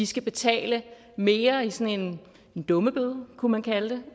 skal betale mere i sådan en dummebøde kunne man kalde det